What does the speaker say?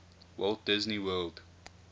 walt disney world